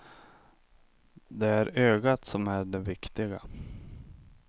Det är ögat som är det viktiga.